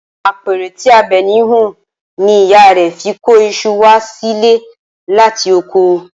Apẹ̀rẹ̀ tí Àbẹ̀ní hun ni ìyá rẹ̀ fi kó iṣu wá sílé láti oko